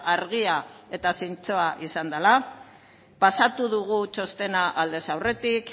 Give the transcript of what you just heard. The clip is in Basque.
argia eta zintzoa izan dela pasatu dugu txostena aldez aurretik